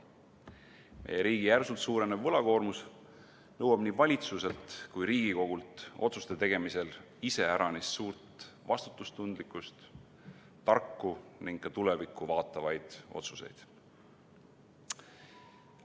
Meie riigi järsult suurenev võlakoormus nõuab nii valitsuselt kui Riigikogult otsuste tegemisel iseäranis suurt vastutustundlikkust, tarku ning tulevikku vaatavaid otsuseid.